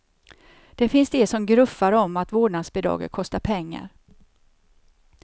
Det finns de som gruffar om att vårdnadsbidraget kostar pengar.